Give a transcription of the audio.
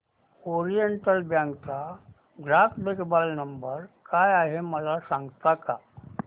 oriental bank चा ग्राहक देखभाल नंबर काय आहे मला सांगता का